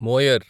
Moyar